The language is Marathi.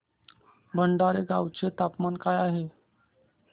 भटाणे गावाचे तापमान काय आहे